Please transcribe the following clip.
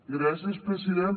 gràcies president